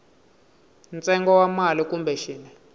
ntsengo wa mali kumbe xin